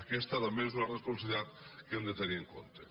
aquesta també és una responsabilitat que hem de tenir en compte